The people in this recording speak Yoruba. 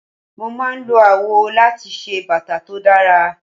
Mo máa ń lo awọ láti ṣe bàtà tó dára.